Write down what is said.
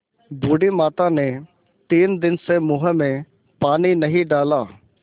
बूढ़ी माता ने तीन दिन से मुँह में पानी नहीं डाला